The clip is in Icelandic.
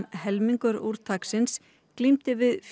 helmingur úrtaksins glímdi við